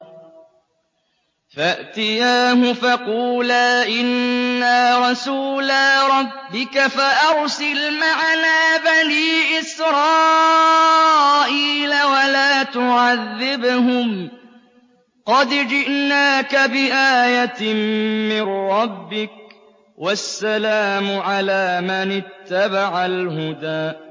فَأْتِيَاهُ فَقُولَا إِنَّا رَسُولَا رَبِّكَ فَأَرْسِلْ مَعَنَا بَنِي إِسْرَائِيلَ وَلَا تُعَذِّبْهُمْ ۖ قَدْ جِئْنَاكَ بِآيَةٍ مِّن رَّبِّكَ ۖ وَالسَّلَامُ عَلَىٰ مَنِ اتَّبَعَ الْهُدَىٰ